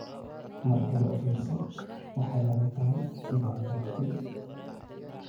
Mar kale u fiirso, waxay la mid tahay inay jabtay.